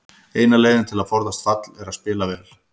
Eina leiðin til að forðast fall er að spila vel.